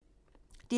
DR P2